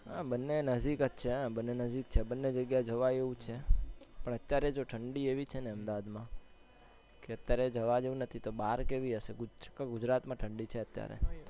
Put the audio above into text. હા, બંને નજદીક જ છે બંને નજદીક જ છે બંને જગ્યાએ જવાય એવું જ છે, પણ અત્યારે જો ઢંડી એવી છે અમદાવાદ માં કે અત્યારે જવા જેવું નથી તો બહાર કેવી હશે ઉત્તર ગુજરાત માં ઢંડી છે અત્યારે.